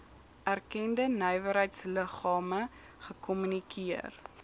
erkende nywerheidsliggame gekommunikeer